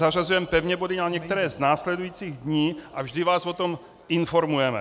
Zařazujeme pevně body na některé z následujících dní a vždy vás o tom informujeme.